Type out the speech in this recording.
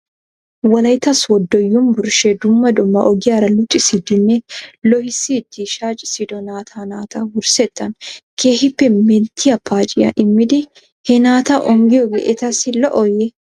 Wolaytta sooddo yumbburshshee dumma dumma ogiyaara luxissiiddinne loohissiiddi shaaccissido naata naata wurssettan keehippe metiyaa paacciyaa immidi he naata onggiyoogee etassi lo'ooyye?